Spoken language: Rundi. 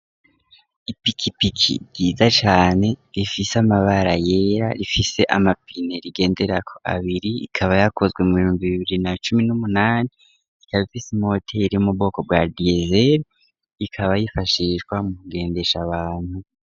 Ipikipiki ryiza cane rifise amabara yera, rifise amapine rigenderako abiri, ikaba yakozwe mu bihumbi bibiri na cumi n'umunani ,ikaba ifise imoteri yo mu bwoko bwa diesel ,ikaba yifashishwa mu kugendesha abantu.